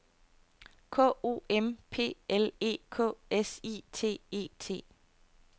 K O M P L E K S I T E T